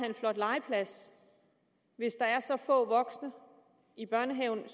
en flot legeplads hvis der er så få voksne i børnehaven at